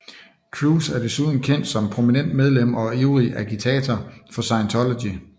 Cruise er desuden kendt som prominent medlem og ivrig agitator for Scientology